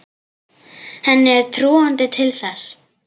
Henni er trúandi til þess.